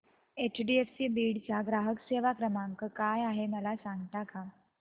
HDFC Beed चा ग्राहक सेवा क्रमांक काय आहे मला सांगता का